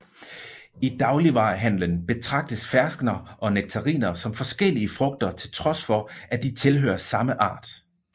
I dagligvarehandelen betragtes ferskner og nektariner som forskellige frugter til trods for at de tilhører samme art